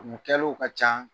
kunko kɛliw ka ca